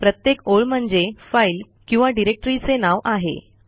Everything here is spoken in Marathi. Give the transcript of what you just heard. प्रत्येक ओळ म्हणजे फाईल किंवा डिरेक्टरीचे नाव आहे